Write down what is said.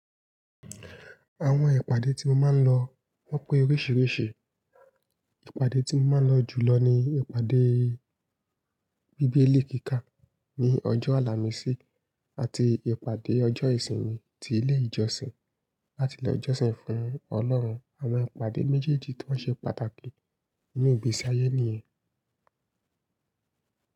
Àwọn ìpàdé tí mo máa ń lọ wọ́n pé oríṣiríṣi Ìpàdé tí mo máa ń lọ jùlọ ni ìpàdé bíbélì kíkà ní ọjọ́ àlàmísì. Àti ìpàdé ọjọ́ ìsinmi ti ilé ìjọsìn láti lọ ìjọsìn fún Ọlọ́run. Àwọn ìpàdé méjèèjì tọ́ ṣe pàtàkì nínú ìgbésí ayé ènìyàn.